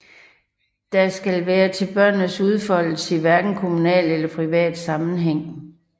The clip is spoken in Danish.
Der skal være til børnenes udfoldelse i hverken kommunal eller privat sammenhæng